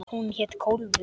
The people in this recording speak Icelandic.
Hún hét Kólfur.